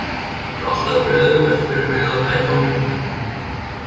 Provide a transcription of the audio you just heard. Það hefur alltaf verið auðvelt fyrir mig að bæta á mig.